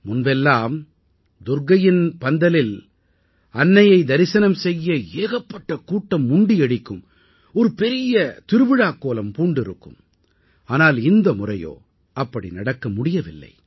முன்பெல்லாம் துர்க்கையின் பந்தலில் அன்னையை தரிசனம் செய்ய ஏகப்பட்ட கூட்டம் முண்டியடிக்கும் ஒரு பெரிய திருவிழாக் கோலம் பூண்டிருக்கும் ஆனால் இந்த முறையோ அப்படி நடக்க முடியவில்லை